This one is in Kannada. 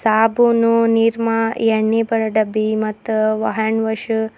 ಸಾಬೂನು ನಿರ್ಮಾ ಎಣ್ಣೆ ಬಡ ಡಬ್ಬಿ ಮತ್ತು ಹ್ಯಾಂಡ್ವಾಶು--